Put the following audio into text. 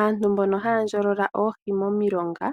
Aantu mbono haya ndjolola oohi momilonga